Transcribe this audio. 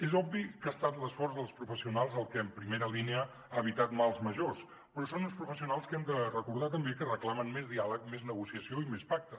és obvi que ha estat l’esforç dels professionals el que en primera línia ha evitat mals majors però són uns professionals que hem de recordar també que reclamen més diàleg més negociació i més pacte